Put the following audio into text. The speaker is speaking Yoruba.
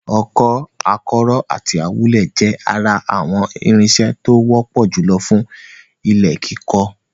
Ọkọ́, akọ́rọ́ àti awúlẹ̀ jẹ́ ara àwọn irinṣẹ́ tó wọ́pọ̀ jùlọ fún ilẹ̀ kíkọ.